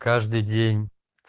каждый день